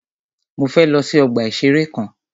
Mọ fẹ lọ sí ọgbà ìṣẹ̀rẹ́ kan.